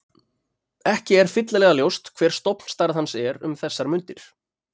Ekki er fyllilega ljóst hver stofnstærð hans er um þessar mundir.